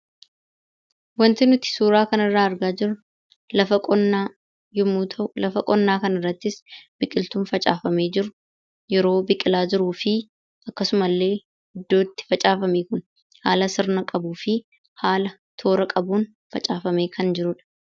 Wanti nuti suuraa kanarraa argaa jirru lafa qonnaa yommuu ta'u, lafa qonnaa kanarrattis biqiltuun facaafamee jiru yeroo biqilaa jiruu fi akkasumallee iddoo itti facaafame haala sirna qabuu fi haala toora qabuun facaafamee kan jirudha.